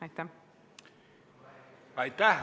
Aitäh!